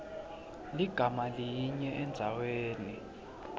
ligama linye endzaweni